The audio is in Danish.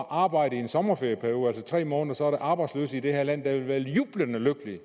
arbejde i en sommerferieperiode altså tre måneder der arbejdsløse i det her land der ville være jublende lykkelige